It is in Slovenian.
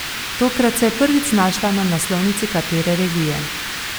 Tokrat se je prvič znašla na naslovnici katere revije.